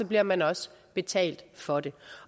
bliver man også betalt for det